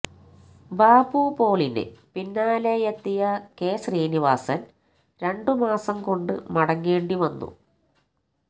ബാബു പോളിന് പിന്നാലെയെത്തിയ കെ ശ്രീനിവാസന് രണ്ടുമാസം കൊണ്ട് മടങ്ങേണ്ടി വന്നു